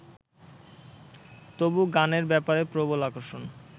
তবু গানের ব্যাপারে প্রবল আকর্ষণ